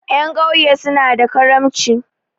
Ƴan ƙauye suna da karamci.